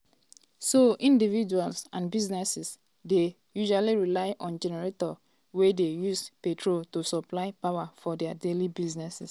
so individuals and businesses dey usually rely on generators wey dey use petrol to supply power for dia daily needs.